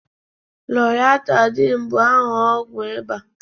loratadin bụ aha ọgwụ ịba